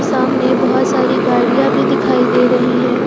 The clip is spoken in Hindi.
सामने बहुत सारी गाड़ियां भी दिखाई दे रही हैं।